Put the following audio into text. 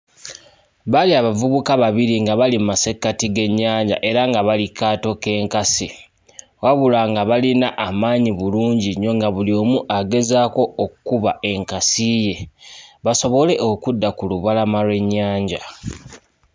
Baali abavubuka babiri nga bali mu masekkati g'ennyanja era nga bali ku kaato k'enkasi wabula nga balina amaanyi bulungi nnyo, nga buli omu agezaako okkuba enkasi ye basobole okudda ku lubalama lw'ennyanja.